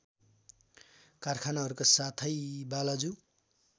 कारखानाहरूका साथै बालाजु